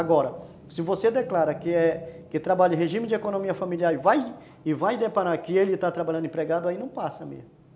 Agora, se você declara que é, que trabalha em regime de economia familiar e vai deparar que ele está trabalhando empregado, aí não passa mesmo.